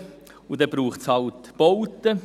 Und da braucht es halt Bauten.